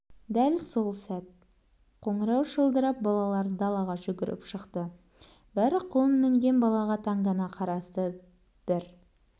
дәл сол сәт қоңырау шылдырап балалар далаға жүгіріп шықты бәрі құлын мінген балаға таңдана қарасты бір